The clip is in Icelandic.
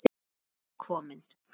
Núna var tími til kominn.